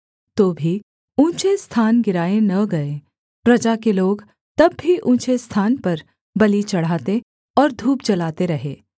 तो भी ऊँचे स्थान गिराए न गए प्रजा के लोग तब भी ऊँचे स्थान पर बलि चढ़ाते और धूप जलाते रहे